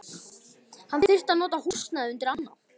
Hann þyrfti að nota húsnæðið undir annað.